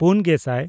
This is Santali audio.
ᱯᱩᱱᱼᱜᱮᱥᱟᱭ